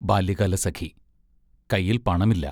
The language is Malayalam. ബാല്യകാലസഖി കൈയിൽ പണമില്ല.